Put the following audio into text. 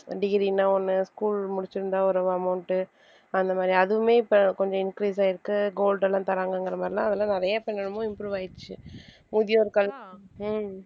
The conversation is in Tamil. degree ன்னா ஒண்ணு school முடிச்சிருந்தா ஒரு amount டு அந்த மாதிரி அதுவுமே இப்ப கொஞ்சம் increase ஆயிருக்கு gold எல்லாம் தர்றாங்கங்கிற மாதிரி எல்லாம் அதெல்லாம் நிறைய என்னென்னமோ improve ஆயிருச்சு முதியோர்கள் ஹம்